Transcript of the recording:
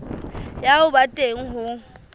ya ho ba teng ho